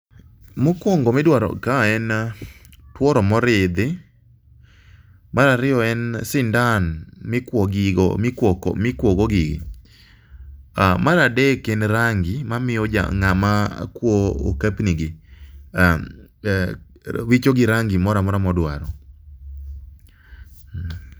Mokuongo midwaro kae en tuoro moridhi,. Mar ariyo en sindan mikuo go gino. Mar adek en rangi mamiyo ng'ama kuoyo okep nigi wichogi rangi moro amora modwaro.